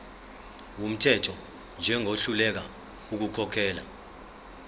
wumthetho njengohluleka ukukhokhela